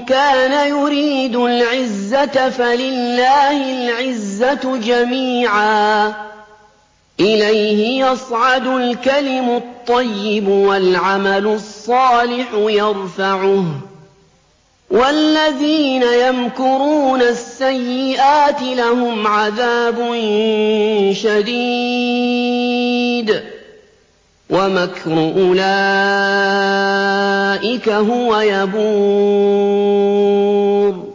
كَانَ يُرِيدُ الْعِزَّةَ فَلِلَّهِ الْعِزَّةُ جَمِيعًا ۚ إِلَيْهِ يَصْعَدُ الْكَلِمُ الطَّيِّبُ وَالْعَمَلُ الصَّالِحُ يَرْفَعُهُ ۚ وَالَّذِينَ يَمْكُرُونَ السَّيِّئَاتِ لَهُمْ عَذَابٌ شَدِيدٌ ۖ وَمَكْرُ أُولَٰئِكَ هُوَ يَبُورُ